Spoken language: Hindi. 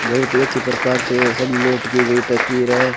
बहुत ही अच्छी प्रकार से सबमिट की गई तस्वीर है।